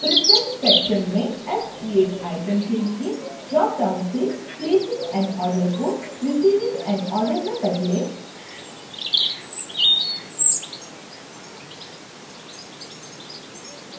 preference section में acqcreateitem के लिए dropdown से placing an order को receiving an order में बदलें